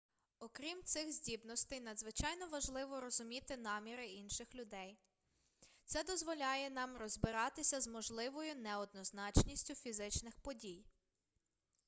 окрім цих здібностей надзвичайно важливо розуміти наміри інших людей це дозволяє нам розбиратися з можливою неоднозначністю фізичних дій